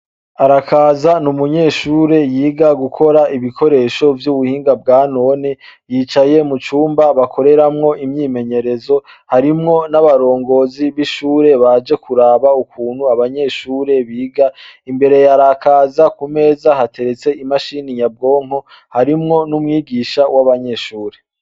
Arakaza n'umunyeshure yiga gukora ibikoresho vy'ubuhinga bwa none yicaye mu cumba bakoreramwo imyimenyerezo harimwo n'abarongozi b'ishure baje kuraba ukuntu abanyeshure biga imbere ya Arakaza ku meza hateretse imashini nyabwonko harimwo n'umwigisha w'abanyeshure.